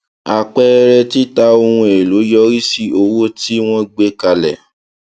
àpẹẹrẹ tita ohun èlò yọrí sí owó tí wọn gbé kalẹ